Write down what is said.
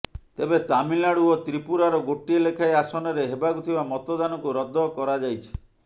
ତେବେ ତାମିଲନାଡୁ ଓ ତ୍ରିପ୍ରୁରାର ଗୋଟିଏ ଲେଖାଏଁ ଆସନରେ ହେବାକୁ ଥିବା ମତଦାନକୁ ରଦ୍ଦ କରାଯାଇଛି